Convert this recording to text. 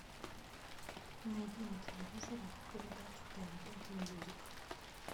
найди на телевизоре передачу тнт мьюзик